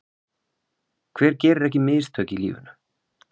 Hver gerir ekki mistök í lífinu?